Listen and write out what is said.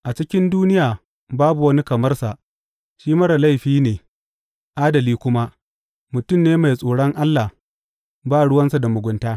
A cikin duniya babu wani kamar sa; shi marar laifi ne, adali kuma, mutum ne mai tsoron Allah, ba ruwansa da mugunta.